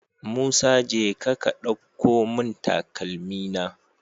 Musa jeka ka ɗauko mun takalmi na